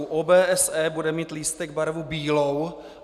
U OBSE bude mít lístek barvu bílou.